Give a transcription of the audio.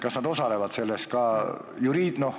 Kas nad osalevad selles ka reaalselt?